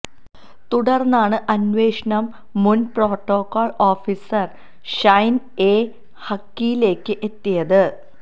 തുടര്ന്നാണ് അന്വേഷണം മുന് പ്രോട്ടോകോള് ഓഫീസര് ഷൈന് എ ഹക്കിലേക്ക് എത്തിയത്